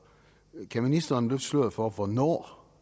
kan ministeren løfte sløret for hvornår